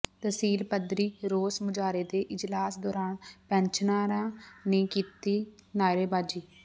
ਤਹਿਸੀਲ ਪੱਧਰੀ ਰੋਸ ਮੁਜ਼ਾਹਰੇ ਤੇ ਇਜਲਾਸ ਦੌਰਾਨ ਪੈਨਸ਼ਨਰਾਂ ਨੇ ਕੀਤੀ ਨਾਅਰੇਬਾਜ਼ੀ